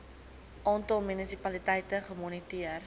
aantal munisipaliteite gemoniteer